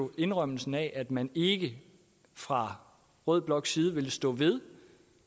at indrømmelsen af at man ikke fra rød bloks side ville stå ved